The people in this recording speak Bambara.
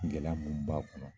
Gɛlɛya minnu b'a kɔnɔ.